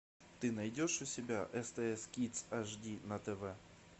ты найдешь у себя стс кидс ашди на тв